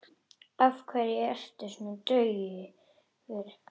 Af hverju ertu svona daufur?